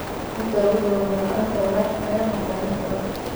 Inta lagu jiro roob la'aanta, waraabka ayaa noqda mid adag.